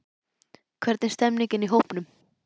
Hvernig er stemmningin í hópnum?